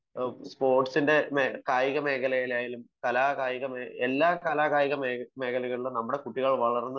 സ്പോർട്സിന്റെ കായിക മേഖലയിലായാലും എല്ലാ കലാകായിക മേഖലയിലും നമ്മുടെ കുട്ടികൾ വളർന്നു